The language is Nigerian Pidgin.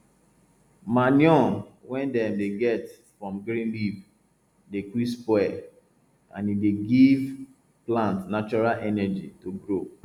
manure wey dem dey get from green leaf dey quick spoil and e dey give plant natural energy to grow